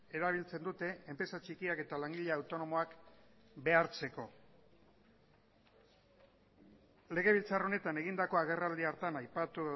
erabiltzen dute enpresa txikiak eta langile autonomoak behartzeko legebiltzar honetan egindako agerraldi hartan aipatu